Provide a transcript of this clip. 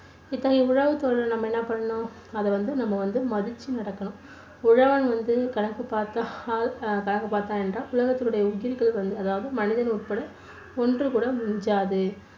இப்போ உழவு தொழிலை நம்ம என்ன பண்ணணும்? அதை வந்து நம்ம வந்து மதிச்சு நடக்கணும் உழவன் வந்து கணக்கு பார்த்தால் கணக்கு பார்த்தான் என்றால், உலகத்த்தினுடைய உயிர்கள் அதாவது மனிதன் உட்பட ஒன்று கூட மிஞ்சாது